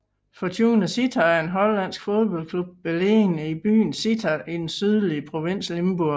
Fortuna Sittard er en hollandsk fodboldklub beliggende i byen Sittard i den sydlige provins Limburg